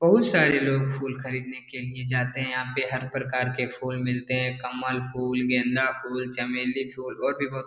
बहुत सारे लोग फुल खरीदने के लिए जाते हैं यहाँ पे हर प्रकार के फुल मिलते हैं कमल फुल गेंदा फुल चमेली फुल और भी बहुत --